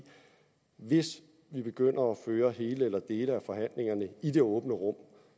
hvis vi begynder at føre hele eller dele af forhandlingerne i det åbne rum